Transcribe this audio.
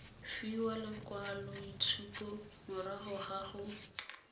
fiwa lekwaloitshupo morago ga go